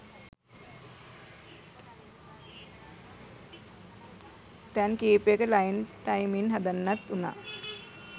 තැන් කීපයක line timing හදන්නත් වුනා